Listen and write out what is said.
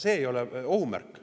See ei ole ohumärk.